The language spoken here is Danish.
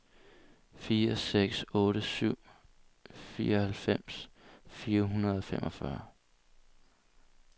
fire seks otte syv fireoghalvfems fire hundrede og femogfyrre